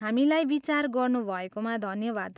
हामीलाई विचार गर्नुभएकोमा धन्यवाद।